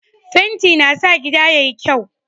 Fenti na sa gida yayi kyau.